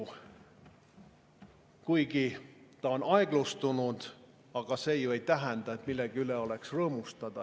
Kuigi on aeglustunud, ei tähenda see ju veel seda, et oleks millegi üle rõõmustada.